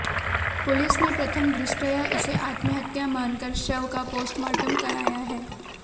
police ने प्रथम दृष्टया इसे आत्महत्या मानकर शव का पोस्टमार्टम कराया है